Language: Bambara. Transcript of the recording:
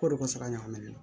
Ko de ko sala ɲagami